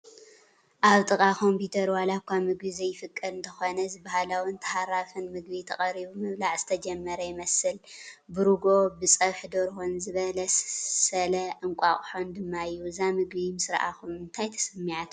ኣብ ጥቓ ኮምፒዩተር ዋላ እኳ ምግቢ ዘይፍቀድ እንተኾነ እዚ ባህላውን ተሃራፍን ምግቢ ተቐሪቡ ምብላዕ ዝተጀመረ ይመስል፡፡ ብርጉኦ፣ ብፀብሑ ደርሆን ዝበለሰለ እንቋቁሖን ድማ እዩ፡፡ እዛ ምግቢ ምስራኣኹም እንታይ ተሰሚዓትኩም?